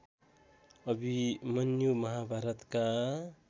अभिमन्यु महाभारतका